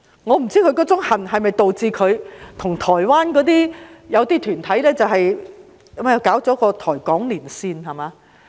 我不知是否因為他那種恨，導致他和台灣一些團體組成了一個"台港連線"，對嗎？